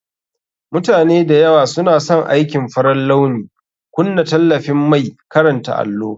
Mutane da yawa suna son aikin farar launi. Kunna tallafin mai karanta allo